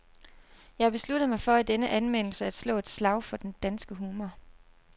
Jeg har besluttet mig for i denne anmeldelse at slå et slag for den danske humor.